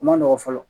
O ma nɔgɔn fɔlɔ